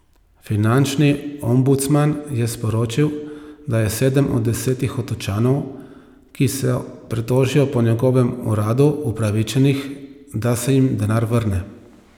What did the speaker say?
Finančni ombudsman je sporočil, da je sedem od desetih Otočanov, ki se pritožijo po njegovem uradu, upravičenih, da se jim denar vrne.